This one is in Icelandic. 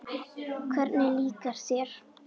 Hvernig líkar þér?